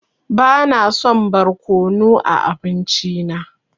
Bana son barkonu a abinci na.